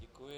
Děkuji.